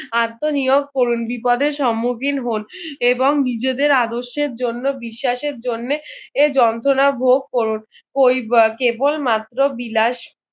আত্মনিয়োগ করুন বিপদের সম্মুখীন হন এবং নিজেদের আদর্শের জন্য বিশ্বাসের জন্যে এ যন্তনা ভোগ করুন করি বা কেবল মাত্র বিলাস